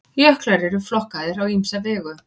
Jöklar eru flokkaðir á ýmsa vegu.